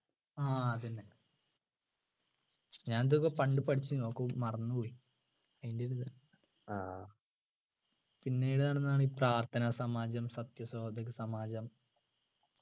ആഹ് അതെന്നെ ഞാൻ ഇതൊക്കെ പണ്ട് പഠിച്ചു ഒക്കെ മറന്നു പോയി അയിൻ്റെ ഒരിതാ പിന്നേത് നടന്നതാണ് പ്രാർത്ഥന സമാജം സത്യ സഹോദരി സമാജം